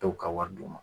Dɔw ka wari d'u ma